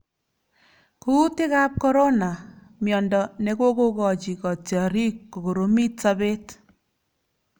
Kuutikab Corona:Miendo ne kokokochi kotiorik kokoromit sobet